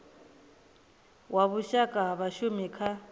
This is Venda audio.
wa vhushaka ha vhashumi kha